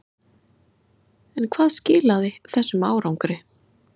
En hvað skilaði þessum árangri?